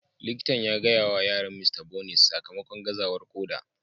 Likitan ya gaya wa yaran Mista Bonys sakamakon gazawar koda.